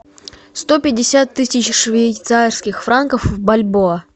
сто пятьдесят тысяч швейцарских франков в бальбоа